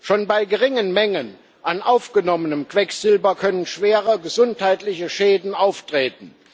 Schon bei geringen Mengen an aufgenommenem Quecksilber können schwere gesundheitliche Schäden auftreten.